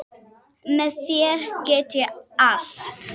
Með þér get ég allt.